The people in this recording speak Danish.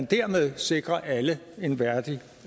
dermed sikrer alle en værdig